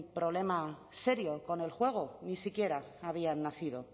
problema serio con el juego ni siquiera habían nacido